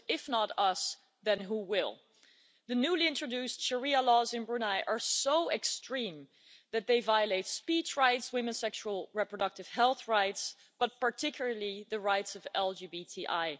Because if not us, then who will? The newly introduced Sharia laws in Brunei are so extreme that they violate speech rights, women's sexual reproductive health rights and, particularly, the rights of LGBTI.